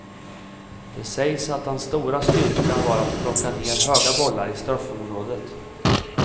Det sägs att hans stora styrka var att plocka ned höga bollar i straffområdet.